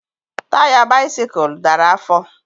Taya bisikul dara afọ